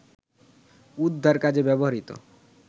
উদ্ধার কাজে ব্যবহৃত